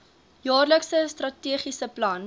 jaarlikse strategiese plan